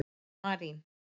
Marín